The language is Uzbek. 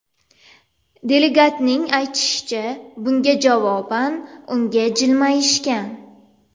Delegatning aytishicha, bunga javoban unga jilmayishgan.